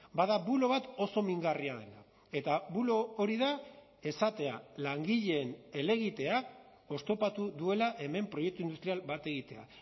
bada bulo bat oso mingarria dena eta bulo hori da esatea langileen helegitea oztopatu duela hemen proiektu industrial bat egitea